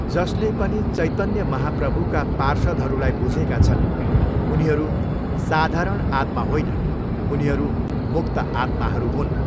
जसले पनि चैतन्य महाप्रभुका पार्षदहरूलाई बुझेका छन् उनीहरू साधारण आत्मा होइनन्.उनीहरू मुक्त आत्माहरू हुन्।